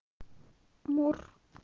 мур